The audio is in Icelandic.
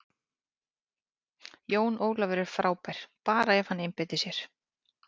Jón Ólafur er frábær, bara ef hann einbeitir sér.